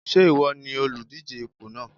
Ṣé ìwọ ni olùdíje ipò náà?